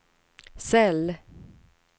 cell